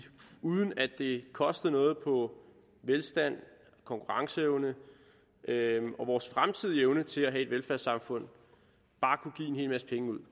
uden at det kostede noget på velstand konkurrenceevne og vores fremtidige evne til at have et velfærdssamfund bare kunne give en hel masse penge ud